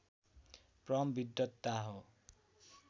परम विद्वता हो